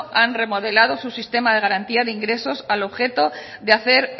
han remodelado su sistema de garantía de ingresos al objeto de hacer